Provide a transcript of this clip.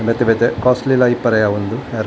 ಬೇತೆ ಬೇತೆ ಕಾಸ್ಟ್ಲಿ ಲ ಇಪ್ಪೆರೆ ಯಾವ್ ಉಂದು ಹೇರ್ --